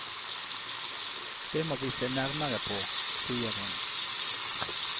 Dette må vi se nærmere på, sier hun.